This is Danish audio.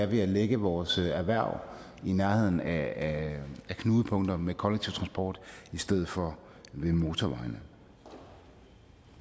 ved at lægge vores erhverv i nærheden af knudepunkter med kollektiv transport i stedet for ved motorvejene